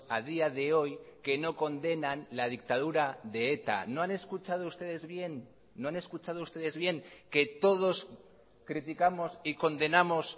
a día de hoy que no condenan la dictadura de eta no han escuchado ustedes bien no han escuchado ustedes bien que todos criticamos y condenamos